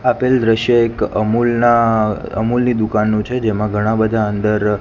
આપેલ દ્રશ્ય એક અમૂલ ના અમૂલ ની દુકાનનું છે જેમા ઘણા બધા અંદર--